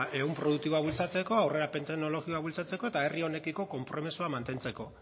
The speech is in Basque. ehun produktiboa bultzatzeko aurrerapen teknologikoa bultzatzeko eta herri honekiko konpromisoa mantentzeko